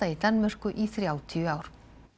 í Danmörku í þrjátíu ár